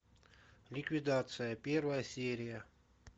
ликвидация первая серия